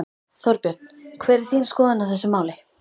Þorbjörn: Hver er þín skoðun á þessu máli?